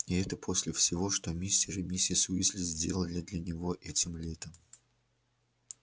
и это после всего что мистер и миссис уизли сделали для него этим летом